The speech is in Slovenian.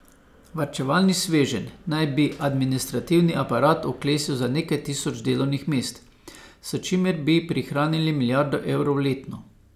Varčevalni sveženj naj bi administrativni aparat oklestil za nekaj tisoč delovnih mest, s čimer bi prihranili milijardo evrov letno.